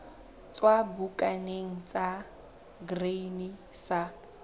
tswa bukaneng ya grain sa